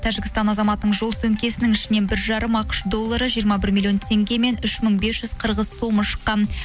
тәжікстан азаматының жол сөмкесінің ішінен бір жарым ақш доллары жиырма бір миллион теңге мен үш мың бес жүз қырғыз сомы шыққан